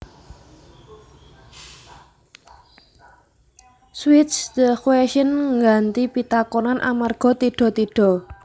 Switch the question ngganti pitakonan amarga tidha tidha